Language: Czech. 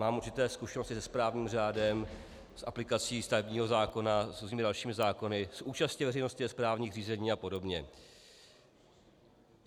Mám určité zkušenosti se správním řádem, s aplikací stavebního zákona, s různými dalšími zákony, s účastí veřejnosti ve správním řízení a podobně.